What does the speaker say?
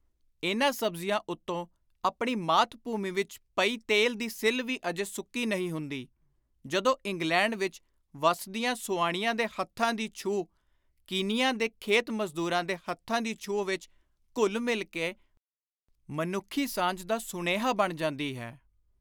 ਇਨ੍ਹਾਂ ਸਬਜ਼ੀਆਂ ਉਤੋਂ ਆਪਣੀ ਮਾਤ-ਭੂਮੀ ਵਿਚ ਪਈ ਤੇਲ ਦੀ ਸਿੱਲ੍ਹ ਵੀ ਅਜੇ ਸੁੱਕੀ ਨਹੀਂ ਹੁੰਦੀ, ਜਦੋਂ ਇੰਗਲੈਂਡ ਵਿਚ ਵੱਸਦੀਆਂ ਸੁਆਣੀਆਂ ਦੇ ਹੱਥਾਂ ਦੀ ਛੂਹ ਕੀਨੀਆਂ ਦੇ ਖੇਤ-ਮਜ਼ਦੁਰਾਂ ਦੇ ਹੱਥਾਂ ਦੀ ਛੁਹ ਵਿਚ ਘੁਲ-ਮਿਲ ਕੇ ਮਨੁੱਖੀ ਸਾਂਝ ਦਾ ਸੁਨੇਹਾ ਬਣ ਜਾਂਦੀ ਹੈ।